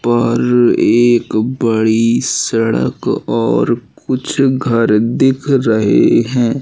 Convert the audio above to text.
पर एक बड़ी सड़क और कुछ घर दिख रहे हैं।